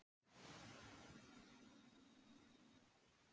Sjá upplýsingar á síðum listasafns Íslands.